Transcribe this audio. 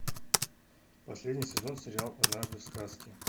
последний сезон сериал однажды в сказке